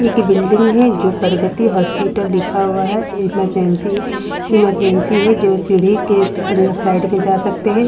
एक बिल्डिंग है जो प्रगति हॉस्पिटल लिखा हुआ है इमरजेंसी इमरजेंसी है जो सीढ़ी के अंदर साइड में जा सकते हैं।